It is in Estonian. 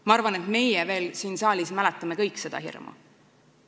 Ma arvan, et meie siin saalis mäletame veel kõik seda hirmu.